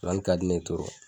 nsonsanin ka di ne ye